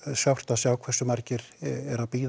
sárt að sjá hve margir bíða